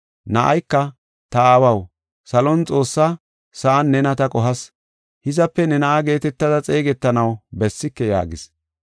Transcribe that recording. Na7ayka, ‘Ta aawaw salon Xoossa, sa7an nena ta qohas. Hizape ne na7a geetetada xeegetanaw bessike’ yaagis.